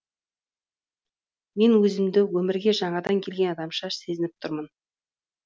мен өзімді өмірге жаңадан келген адамша сезініп тұрмын